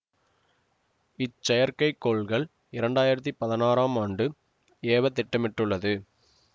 இச்செயற்கை கோள் இரண்டாயிரத்தி பதினாறாம் ஆண்டு ஏவத்திட்டமிடப்பட்டுள்ளது